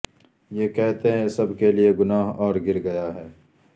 یہ کہتے ہیں کہ سب کے لئے گناہ اور گر گیا ہے